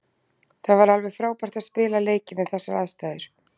Það var alveg frábært að spila leikinn við þessar aðstæður.